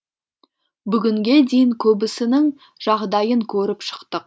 бүгінге дейін көбісінің жағдайын көріп шықтық